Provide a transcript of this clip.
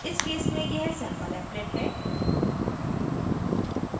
इस case में यह sampleapplet है